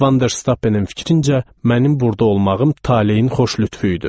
Vanderstappenin fikrincə, mənim burda olmağım taleyin xoş lütfü idi.